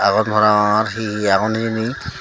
aagon parapangor he he agon hijeni.